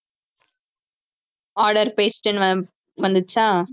order placed ன்னு வந்துச்சா